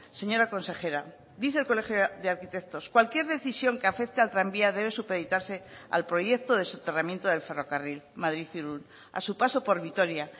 señora consejera dice el colegio de arquitectos cualquier decisión que afecte al tranvía debe supeditarse al proyecto de soterramiento del ferrocarril madrid irún a su paso por vitoria